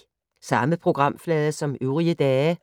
Samme programflade som øvrige dage